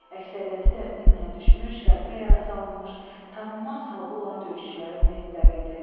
Əksəriyyəti də minaya düşmüş, qəlpə yara salınmış, tanınmaz halda olan döyüşçülərin meyitləri idi.